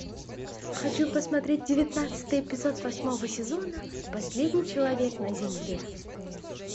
хочу посмотреть девятнадцатый эпизод восьмого сезона последний человек на земле